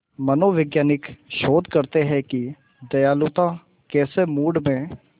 मनोवैज्ञानिक शोध करते हैं कि दयालुता कैसे मूड में